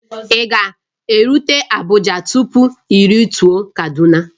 Ị ga-erute Abuja tupu i rute Kaduna